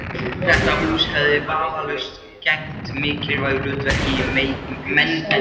Þetta hús hefði vafalaust gegnt mikilvægu hlutverki í menningarlífi